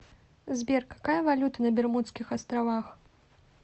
сбер какая валюта на бермудских островах